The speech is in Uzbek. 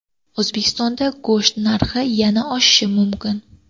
O‘zbekistonda go‘sht narxi yana oshishi mumkin.